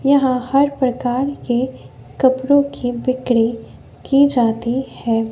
यहां हर प्रकार के कपड़ों की बिक्री की जाती है।